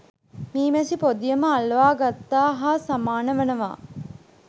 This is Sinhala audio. මී මැසි පොදියම අල්වාගත්තා හා සමාන වනවා.